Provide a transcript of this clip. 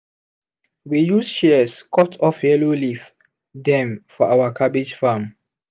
we use shears cut off yellow leaf dem for our cabbage farm.